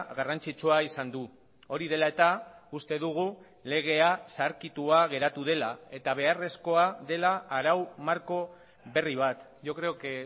garrantzitsua izan du hori dela eta uste dugu legea zaharkitua geratu dela eta beharrezkoa dela arau marko berri bat yo creo que